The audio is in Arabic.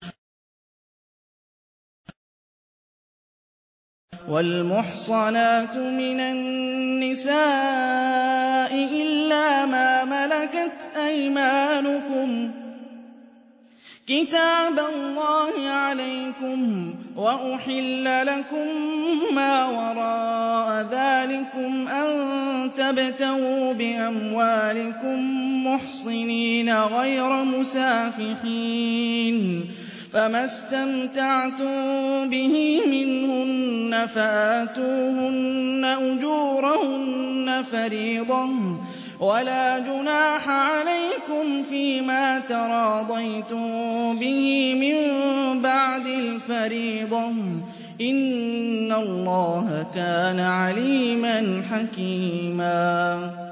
۞ وَالْمُحْصَنَاتُ مِنَ النِّسَاءِ إِلَّا مَا مَلَكَتْ أَيْمَانُكُمْ ۖ كِتَابَ اللَّهِ عَلَيْكُمْ ۚ وَأُحِلَّ لَكُم مَّا وَرَاءَ ذَٰلِكُمْ أَن تَبْتَغُوا بِأَمْوَالِكُم مُّحْصِنِينَ غَيْرَ مُسَافِحِينَ ۚ فَمَا اسْتَمْتَعْتُم بِهِ مِنْهُنَّ فَآتُوهُنَّ أُجُورَهُنَّ فَرِيضَةً ۚ وَلَا جُنَاحَ عَلَيْكُمْ فِيمَا تَرَاضَيْتُم بِهِ مِن بَعْدِ الْفَرِيضَةِ ۚ إِنَّ اللَّهَ كَانَ عَلِيمًا حَكِيمًا